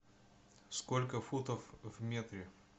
сколько футов в метре